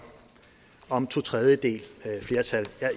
om totredjedelsflertal